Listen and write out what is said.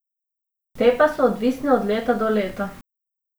Te pa so odvisne od leta do leta.